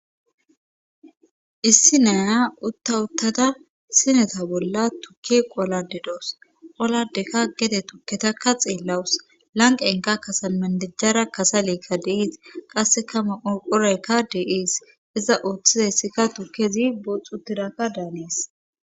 issi naya utta uttada sineta bolla tukki qolade doos qoladeka gede tukketakka xeellawus lanqenka kasan mandijjara kasalekka deiis qasse kama urqoraykka dee7ees iza ooththizayssikka tukezi boxxu tidakka daanees